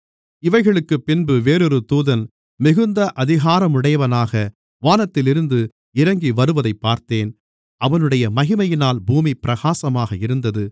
இவைகளுக்குப் பின்பு வேறொரு தூதன் மிகுந்த அதிகாரமுடையவனாக வானத்திலிருந்து இறங்கி வருவதைப் பார்த்தேன் அவனுடைய மகிமையினால் பூமி பிரகாசமாக இருந்தது